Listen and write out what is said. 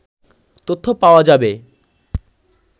তথ্য পাওয়া যাবে